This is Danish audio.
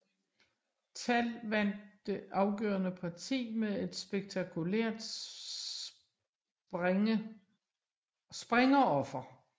Tal vandt det afgørende parti med et spektakulært springeroffer